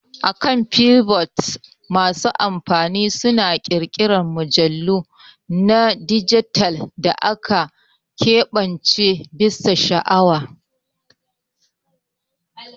Akan Flipboard masu amfani suna ƙirƙirar mujallu na dijital da aka keɓance bisa sha'awa.